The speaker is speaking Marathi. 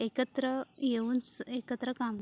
एकत्र येऊन सअ एकत्र काम--